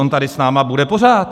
On tady s námi bude pořád.